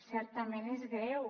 certament és greu